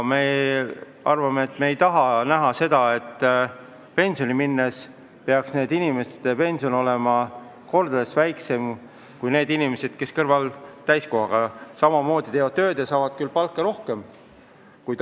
Me ei taha näha seda, et pensionile minnes peaks nende inimeste pension olema mitu korda väiksem kui neil inimestel, kes täiskohaga tööd teevad ja saavad rohkem palka.